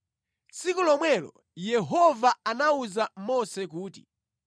Tsiku lomwelo Yehova anawuza Mose kuti,